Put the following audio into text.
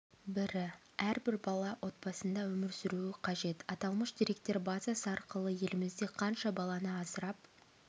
бірі әрбір бала отбасында өмір сүруі қажет аталмыш деректер базасы арқылы елімізде қанша баланы асырап